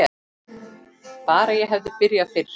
Bara ég hefði byrjað fyrr!